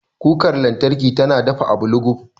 Kukar lantarki tana dafa abu luguf.